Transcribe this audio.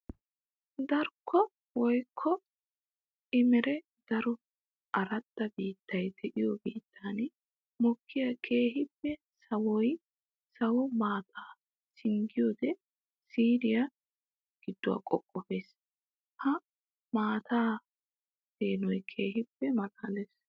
Darkko woykko emmeren daro aradda biittayi de'iyo biittan mokkiya keehippe sawiya sawo maataa singgiyoode siiriya giduwaa qoqqoppes. Ha maataa peenoy keehippe malaales.